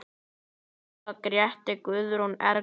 Inga, Gréta, Guðrún, Erla.